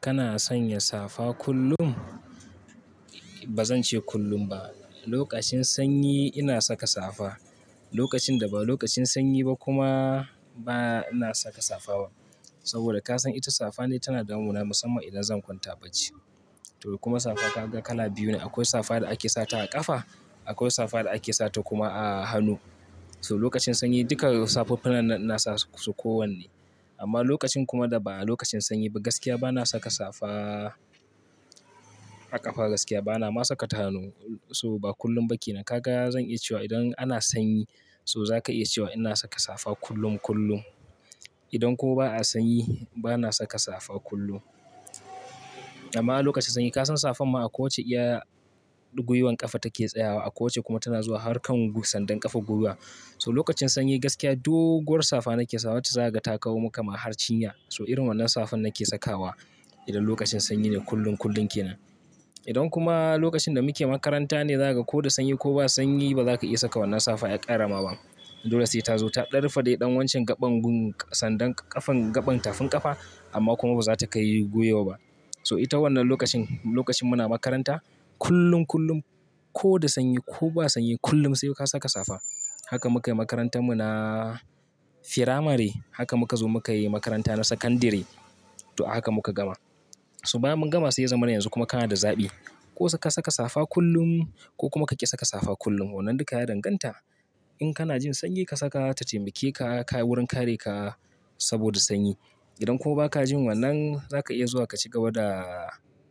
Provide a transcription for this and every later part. Kana sanya safa kullum? Ba zan ce kullum ba. Lokacin sanyi ina saka safa. Lokacin da ba lokacin sanyi ba kuma, ba na saka safa ba. Saboda ka san ita safa ne tana damuna musamman idan zan kwanta bacci. To kuma safa kaga kala biyu ne. Akwai safa da ake sata a ƙafa, akwai safa da ake sata kuma a hannu. So lokacin sanyi duka safuffukan nan ina sa su kowanne. Amma lokacin kuma da ba lokacin sanyi ba gaskiya ba na saka safa a ƙafa gaskiya bana ma saka ta hannu. So ba kullum ba ke nan. Kaga zan iya cewa idan ana sanyi so za ka iya cewa ina saka safa kullum kullum. Idan kuwa ba a sanyi ba na saka safa kullum. Amma lokacin sanyi ka san safan ma a ko wace iya gwiwar ƙafa take tsayawa, a ko wace kuma tana zuwa har kan sandan ƙafa guguwa. So lokacin sanyi gaskiya doguwar safa nake sawa wacce za ka ga ta kawo maka ma har cinya. So irin wannan safan nake sakawa idan lokacin sanyi ne kullum kullum ke nan. Idan kuma lokacin da muke makaranta ne, zaka ko da sanyi ko ba sanyi ba za ka iya saka wannan safa ya ƙarama ba. Dole sai ta zo ta darfade ɗan wancan gaɓan gun sandan ƙafan gaɓan tafin ƙafa amma kuma ba za ta kayi gwiwa ba. So ita wannan lokacin, lokacin muna makaranta kullum kullum ko da sanyi ko ba sanyi kullum sai ka saka safa. Haka muka yi makarantar mu na firamari, haka muka zo muka yi makaranta na sakandire to haka muka gama. So bayan mun gama sai ya zama na yanzu kuma kana da zaɓi. Ko ka saka safa kullum ko kuma ka ƙi saka safa kullum. Wanan duka ya danganta. In kana jin sanyi ka saka ta taimake ka, ka wurin kare ka saboda sanyi. Idan kuwa ba ka jin wannan za ka iya zuwa ka cigaba da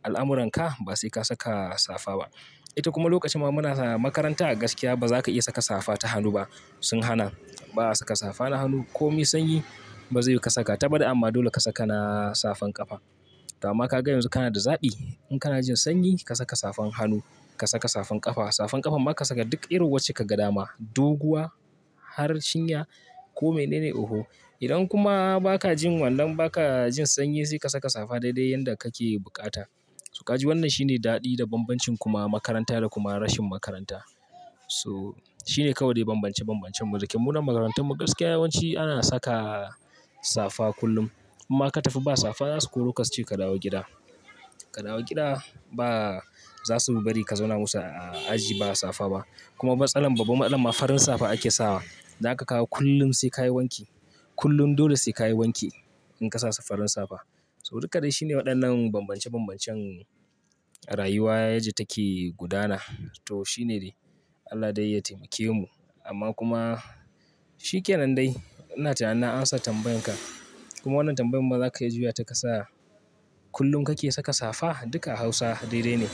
al'amuran ka ba sai ka saka safa ba. Ita kuma lokacin muna makaranta a gaskiya ba za ka iya saka safa ta hannu ba. Sun hana. Ba a saka safa na hannu. Ko mai sanyi ba zai ka saka ta baɗi amma dole ka saka na safan ƙafa. Amma ka ga yanzu kana da zaɓi. In kana jin sanyi ka saka safan hannu, ka saka safan ƙafa. Safan ƙafa ma ka saka duk iru wacce ka ga dama. Doguwa, har cinya ko mene ne oho. Idan kuma ba ka jin wannan ba ka jin sanyi sai ka saka safa dai dai yanda kake buƙata. So ka ji wannan shine daɗi da bambancin kuma makaranta da kuma rashin makaranta. So shine kawai bambance bambancen mu. Da ke mu nan makarantar mu gaskiya yawanci ana saka safa kullum. Kuma ka tafi ba safa za su koro ka ce ka dawo gida. Ka dawo gida ba za su bari ka zauna musu a aji ba safa ba. Kuma matsalan, babban anan ma farin safa ake sawa. Zaka kawo kullum sai ka yi wanki. Kullum dole sai ka yi wanki in ka sa farin safa. So duka dai shine waɗannan bambance bambancen rayuwa yaji take gudana. To shine dai. Allah dai ya taimake mu. Amma kuma shi ke nan dai. Ina tunanin na amsa tambayan ka. Kuma wannan tambayan kuma za ka iya zuwa ta kasa. Kullum kake saka safa? Duka a Hausa dai dai ne.